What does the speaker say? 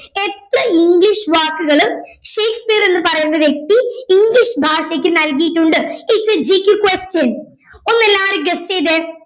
എത്ര ഇംഗ്ലീഷ് വാക്കുകള് ഷേക്സ്പിയർ എന്ന് പറയുന്ന വ്യക്തി ഇംഗ്ലീഷ് ഭാഷയ്ക്ക് നൽകിയിട്ടുണ്ട് is aGKquestian ഒന്നെല്ലാരും guess ചെയ്തേ